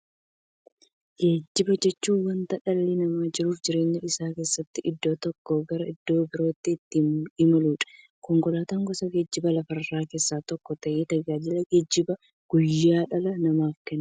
Geejjiba jechuun wanta dhalli namaa jiruuf jireenya isaa keessatti iddoo tokkoo gara iddoo birootti ittiin imaluudha. Konkolaatan gosa geejjibaa lafarraa keessaa tokko ta'ee, tajaajila geejjibaa guyyaa guyyaan dhala namaaf kenna.